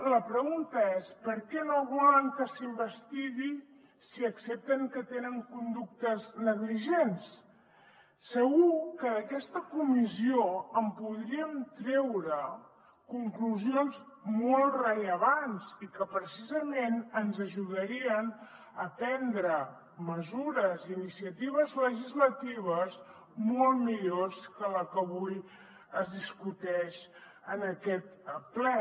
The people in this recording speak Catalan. la pregunta és per què no volen que s’investigui si accepten que tenen conductes negligents segur que d’aquesta comissió en podríem treure conclusions molt rellevants i que precisament ens ajudarien a prendre mesures i iniciatives legislatives molt millors que la que avui es discuteix en aquest ple